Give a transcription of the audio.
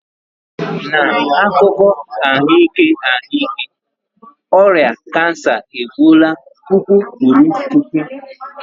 N'akụkọ ahụike ahụike, ọrịa kansa egbuola puku kwuru puku.